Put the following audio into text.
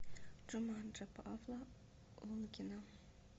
джуманджи павла лунгина